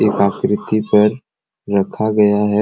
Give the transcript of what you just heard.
एक आकृति पर रखा गया है।